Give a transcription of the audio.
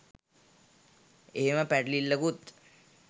එහෙම පැටලිල්ලකුත්